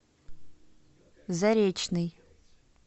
заречный